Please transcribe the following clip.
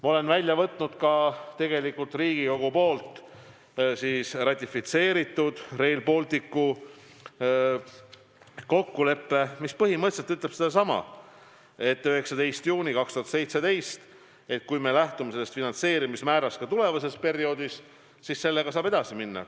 Ma olen välja võtnud Riigikogus ratifitseeritud Rail Balticu kokkuleppe, mis põhimõtteliselt ütleb sedasama – 19. juuni 2017 –, et kui me lähtume sellest finantseerimismäärast ka tulevasel perioodil, siis sellega saab edasi minna.